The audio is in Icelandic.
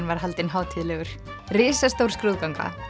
var haldinn hátíðlegur risastór skrúðganga